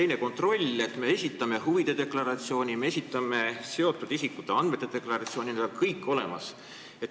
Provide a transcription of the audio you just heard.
Mis puutub kontrolli, siis me esitame huvide deklaratsiooni, me esitame seotud isikute andmete deklaratsiooni – need on kõik olemas ja avalikud.